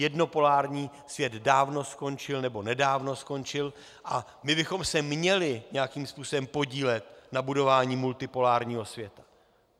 Jednopolární svět dávno skončil, nebo nedávno skončil, a my bychom se měli nějakým způsobem podílet na budování multipolárního světa.